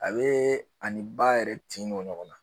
A be ani ba yɛrɛ tin don ɲɔgɔn na